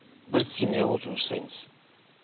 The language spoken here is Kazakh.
бір семья болып жұмыс жасаймыз